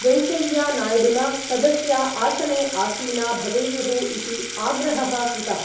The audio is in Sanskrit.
वेङ्कय्यनाय्डूना सदस्या आसने आसीना भवेयुः इति आग्रहः कृतः।